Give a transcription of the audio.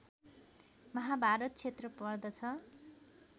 महाभारत क्षेत्र पर्दछ